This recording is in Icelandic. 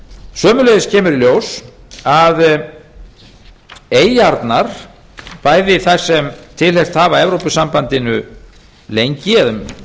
sömuleiðis kemur í ljós að eyjarnar bæði þær sem tilheyrt hafa evrópusambandinu lengi eða um